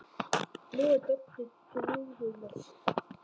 Nú er Doddi drjúgur með sig.